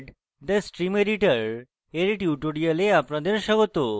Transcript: sed : the stream editor এর tutorial আপনাদের স্বাগত